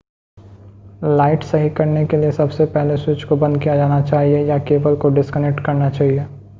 light सही करने के लिए सबसे पहले स्विच को बंद किया जाना चाहिए या केबल को डिस्कनेक्ट करना चाहिए